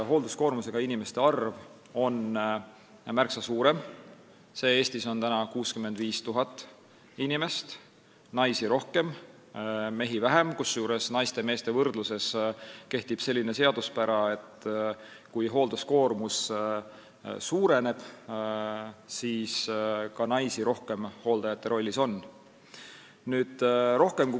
Hoolduskoormusega inimeste arv on selle järgi märksa suurem, praegu 65 000 inimest, naisi on rohkem ja mehi vähem, kusjuures meeste ja naiste võrdluses kehtib selline seaduspära, et kui hoolduskoormus suureneb, siis on naisi hooldajate rollis rohkem.